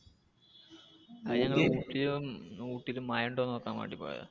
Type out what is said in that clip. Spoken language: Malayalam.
അത് ഊട്ടില് മഴ ഉണ്ടോ എന്ന് നോക്കാൻ വേണ്ടി പോയതാ.